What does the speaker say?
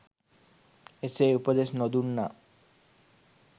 එසේ උපදෙස් නොදුන්නා